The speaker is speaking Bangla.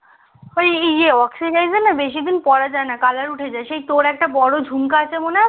ওই বেশি দিন পড়া যায়না colour উঠে যায় সেই তোর একটা বড়ো জুমকো আছে মনে আছে